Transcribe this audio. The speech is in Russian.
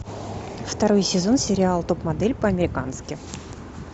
второй сезон сериал топ модель по американски